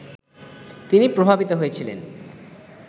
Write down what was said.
তিনি প্রভাবিত হয়েছিলেন